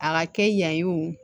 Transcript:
A ka kɛ yan ye o